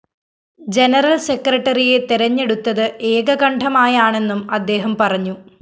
general സെക്രട്ടറിയെ തെരഞ്ഞെടുത്തത് ഏകകണ്ഠമായാണെന്നും അദ്ദേഹം പറഞ്ഞു